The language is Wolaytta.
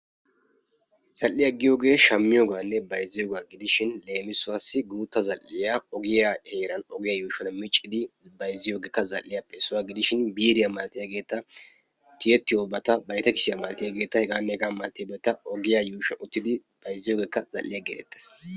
Zal'iyaa giyoogee shammiyoogaanne bayzziyoogaa gidishin leemisuwaassi guutta zal'iyaa ogiyaa heeran ogiyaa yuushuwan miccidi bayzziyoogeekka zal'iyaappe issuwaa gidishin biiriyaa malatiyaageeta tiyettiyoobata vitekisiyaa malatiyaageeta hegaanne hegaa malatiyaageeta giyaa yuushuwan wottidi bayzziyoogeekka zal'iyaa geetetes.